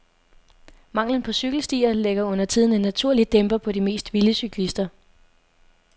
Manglen på cykelstier lægger undertiden en naturlig dæmper på de mest vilde cyklister.